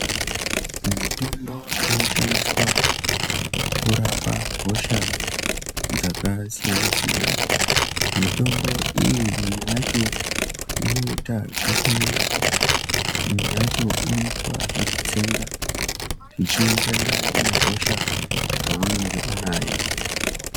Mutombo inoshandiswa kurapa hosha dzakasiyana siyana mitombo iyi imwe yacho inoita zvekumwiwa imwe yacho inoitwa zvekutsenga ichienderana nehosha yaunenge unayo.